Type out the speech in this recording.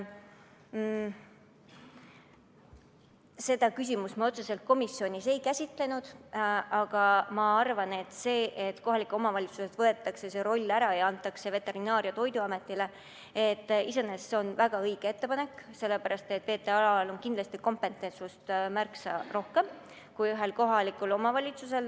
Seda küsimust me otseselt komisjonis ei käsitlenud, aga ma arvan, et see, et kohalikelt omavalitsustelt võetakse see roll ära ja antakse Veterinaar- ja Toiduametile, on iseenesest väga õige, sest VTA‑l on loomapidamises kindlasti kompetentsust märksa rohkem kui ühel kohalikul omavalitsusel.